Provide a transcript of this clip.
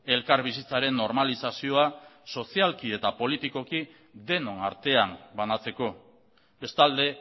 elkarbizitzaren normalizazioa sozialki eta politikoki denon artean banatzeko bestalde